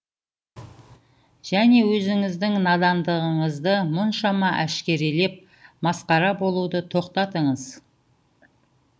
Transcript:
және өзіңіздің надандығыңызды мұншама әшкерелеп масқара болуды тоқтатыңыз